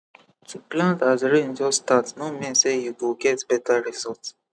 to plant as rain just start no mean say you go get better result